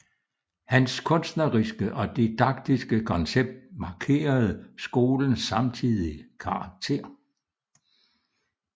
Hans kunstneriske og didaktiske koncept markerede skolens samtidige karakter